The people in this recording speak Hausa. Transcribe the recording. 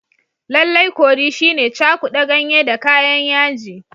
Lallai curry shine cakuda ganye da kayan yaji.